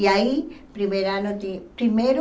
E aí, primeiro ano de, primeiro...